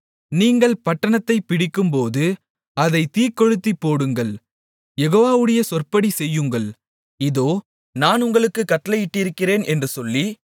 நீங்கள் பட்டணத்தைப் பிடிக்கும்போது அதைத் தீக்கொளுத்திப்போடுங்கள் யெகோவாவுடைய சொற்படி செய்யுங்கள் இதோ நான் உங்களுக்குக் கட்டளையிட்டிருக்கிறேன் என்று சொல்லி